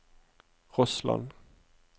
Rossland